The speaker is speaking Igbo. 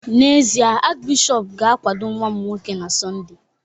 N’ezie, Achịbishọp ga-akwado nwa m nwoke na Sọnde